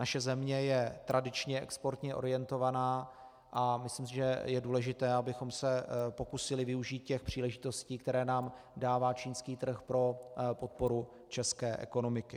Naše země je tradičně exportně orientovaná a myslím si, že je důležité, abychom se pokusili využít těch příležitostí, které nám dává čínský trh pro podporu české ekonomiky.